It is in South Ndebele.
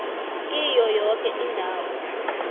kiyo yoke indawo